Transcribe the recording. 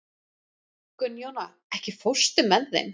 Gunnjóna, ekki fórstu með þeim?